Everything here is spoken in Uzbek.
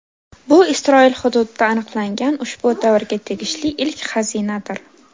Bu Isroil hududida aniqlangan ushbu davrga tegishli ilk xazinadir.